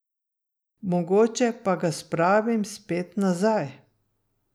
Mogoče pa ga spravim spet nazaj ...